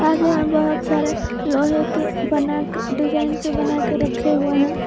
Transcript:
और यहां बहुत सारे लोहे के बना के डिजाइन से बनाकर रखे हुए हैं।